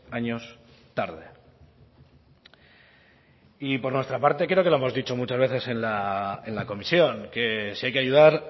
años tarde y por nuestra parte creo que lo hemos dicho muchas veces en la comisión que si hay que ayudar